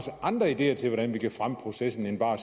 andre ideer til hvordan vi kan fremme processen end bare